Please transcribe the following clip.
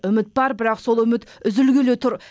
үміт бар бірақ сол үміт үзілгелі тұр